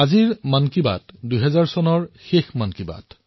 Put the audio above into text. আজিৰ মন কী বাত এক প্ৰকাৰে ২০২০ৰ অন্তিমটো মন কী বাত